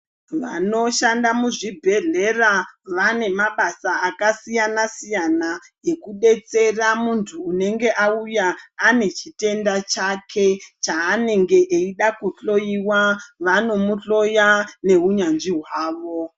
Vanoshanda muzvibhedhlera vane mabasa akasiyana-siyana ekudetsera muntu anenge auya ane chitenda chake chanenge achida kuhloiwa vanomuhloya nehunyanzvi hwavo.